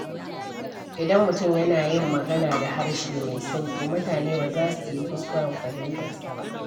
Idan mutum yana yin magana da harshe mai sauƙi, mutane ba za su yi kuskuren fahimtarsa ba.